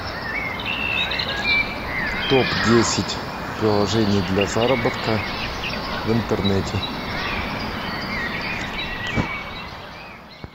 топ десять приложений для заработка в интернете